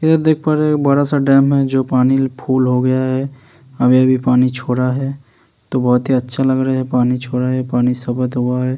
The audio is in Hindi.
ये देखो ये बड़ा-सा डैम है। जो पानी फुल हो गया है अभी-अभी पानी छोड़ा है तो बोहोत ही अच्छा लग रहा है। पानी छोड़ा है। पानी ।